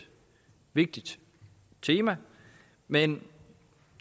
vigtigt tema men